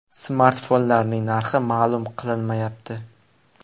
Smartfonlarning narxi ma’lum qilinmayapti.